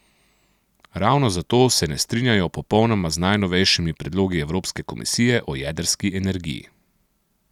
Ravno zato se ne strinjajo popolnoma z najnovejšimi predlogi Evropske komisije o jedrski energiji.